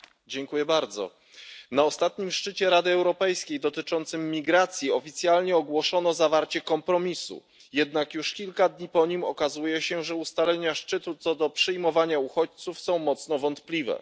Panie Przewodniczący! Na ostatnim szczycie Rady Europejskiej dotyczącym migracji oficjalnie ogłoszono zawarcie kompromisu, jednak już kilka dni po nim okazuje się, że ustalenia szczytu co do przyjmowania uchodźców są mocno wątpliwe.